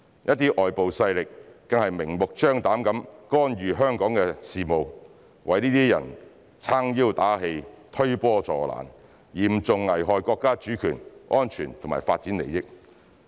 一些外部勢力更是明目張膽地干預香港的事務，為這些人撐腰打氣、推波助瀾，嚴重危害國家主權、安全和發展利益。